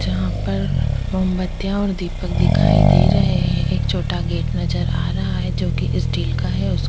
जहाँ पर मोमबत्तियाँ और दीपक दिखाई दे रहै है एक छोटा गेट नजर आ रहा है जो कि स्टील का है उस --